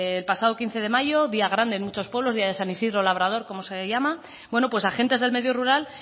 el pasado quince de mayo día grande en muchos pueblos día de san isidro labrador como se le llama pues agentes del medio rural